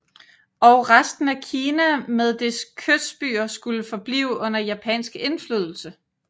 Og resten af Kina med dets kystbyer skulle forblive under japansk indflydelse